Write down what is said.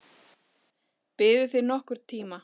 Biðuð þið nokkurn tíma?